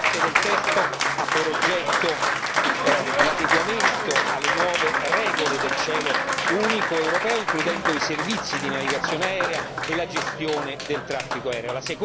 La prima parte del testo ha per oggetto l'adeguamento alle nuove regole del cielo unico europeo, includendo i servizi di navigazione aerea e la gestione del traffico aereo